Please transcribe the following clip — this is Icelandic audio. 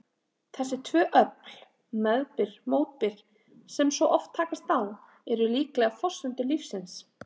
Þessi tvö öfl, meðbyr-mótbyr, sem svo oft takast á, eru líklega forsendur lífsins.